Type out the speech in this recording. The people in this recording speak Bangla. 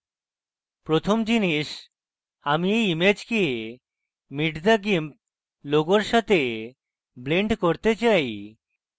প্রথম জিনিস আমি এই ইমেজকে meet the gimp logo সাথে blend করতে চাই